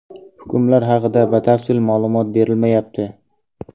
Hukmlar haqida batafsil ma’lumot berilmayapti.